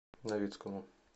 новицкому